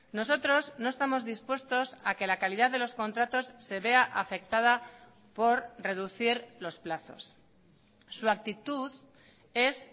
nosotros no estamos dispuestos a que la calidad de los contratos se vea afectada por reducir los plazos su actitud es